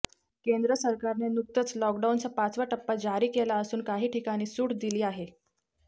केंद्र सरकारने नुकतंच लॉकडाऊनचा पाचवा टप्पा जारी केला असून काही ठिकाणी सूट दिली आहे